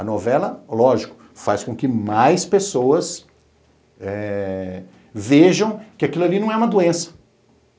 A novela, lógico, faz com que mais pessoas eh vejam que aquilo ali não é uma doença.